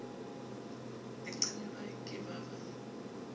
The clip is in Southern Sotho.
leqeme ba ke ba ba